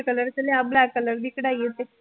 White color ਚ ਲਿਆ black color ਦੀ ਕਢਾਈ ਹੈ ਉੱਤੇ